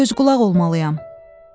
Göz qulaq olmalıyam.